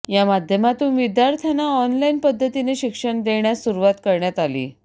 या माध्यमातून विद्यार्थ्यांना ऑनलाइन पद्धतीने शिक्षण देण्यास सुरुवात करण्यात आली